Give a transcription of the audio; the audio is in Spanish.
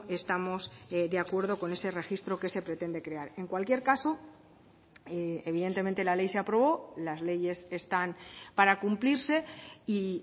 estamos de acuerdo con ese registro que se pretende crear en cualquier caso evidentemente la ley se aprobó las leyes están para cumplirse y